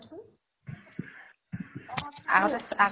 আগতে চা